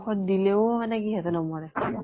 অ । দিলেও মানে কি সিহঁতে নমৰে